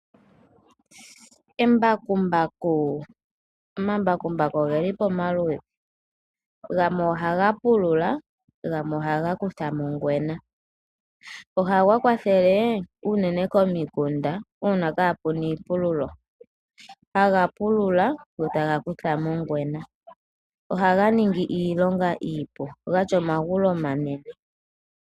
Omambakumbaku oge li pamaludhi. Gamwe ohaga pulula, gamwe ohaga kutha mo ongwena. Ohaga kwathele komikunda uuna kaapu na iipululo. Ohaga pulula go taga kutha mo ongwena. Ohaga ningi iilonga iipu. Oga tya omagulu omanene.